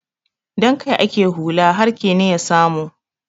Don kai ake hulla har kene ya samu.